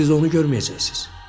Siz onu görməyəcəksiz.